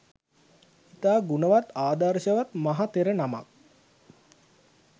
ඉතා ගුණවත් ආදර්ශවත් මහ තෙර නමක්.